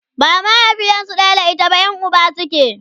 ba mahaifiyarsu ɗaya da ita ba Yan Uba suke